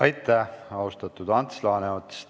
Aitäh, austatud Ants Laaneots!